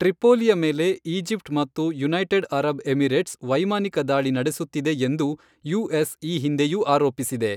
ಟ್ರಿಪೋಲಿಯ ಮೇಲೆ ಈಜಿಪ್ಟ್ ಮತ್ತು United Arab Emirates ವೈಮಾನಿಕ ದಾಳಿ ನಡೆಸುತ್ತಿದೆ ಎಂದು ಯುಎಸ್ ಈ ಹಿಂದೆಯೂ ಆರೋಪಿಸಿದೆ.